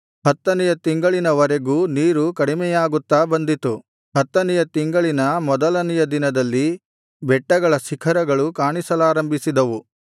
ಹತ್ತನೆಯ ತಿಂಗಳಿನವರೆಗೂ ನೀರು ಕಡಿಮೆಯಾಗುತ್ತಾ ಬಂದಿತು ಹತ್ತನೆಯ ತಿಂಗಳಿನ ಮೊದಲನೆಯ ದಿನದಲ್ಲಿ ಬೆಟ್ಟಗಳ ಶಿಖರಗಳು ಕಾಣಿಸಲಾರಂಭಿಸಿದವು